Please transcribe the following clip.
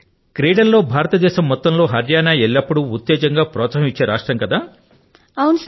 సరి కృతికా హరియాణా అయితే ఆటపాటల్లో యావత్తు భారతదేశానికే ఎల్లప్పుడూ ఉత్తేజాన్ని ప్రోత్సాహాన్ని ఇచ్చే రాష్ట్రం గా ఉంది కద